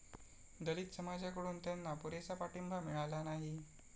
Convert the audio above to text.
दलित समाजाकडून त्यांना पुरेसा पाठिंबा मिळाला नाही.